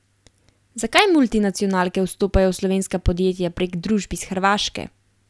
Zakaj multinacionalke vstopajo v slovenska podjetja prek družb iz Hrvaške?